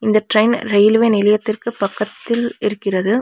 இந்த train railway நிலையத்திற்கு பக்கத்தில் இருக்கிறது.